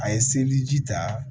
A ye seliji ji ta